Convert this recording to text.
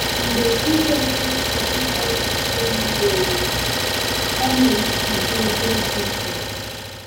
Mgbe Jizọs chọrọ iche echiche miri emi, ọ na-apụ gaa ebe dị jụụ.